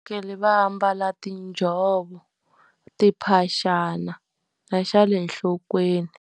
va ambala tinjhovo, timphaxana, na xa le nhlokweni.